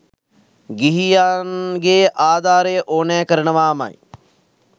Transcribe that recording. ගිහියන්ගේ ආධාරය ඕනැ කරනවාමයි.